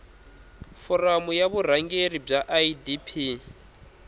foramu ya vurhangeri bya idp